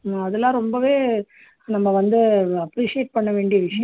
அதெல்லாம் ரொம்பவே நம்ம வந்து appreciate பண்ண வேண்டிய விஷயம்